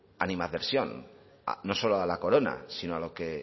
animadversión no solo a la corona sino a lo que